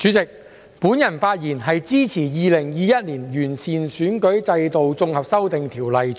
代理主席，我發言支持《2021年完善選舉制度條例草案》。